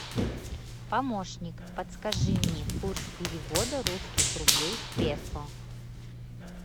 помощник подскажи мне курс перевода русских рублей в песо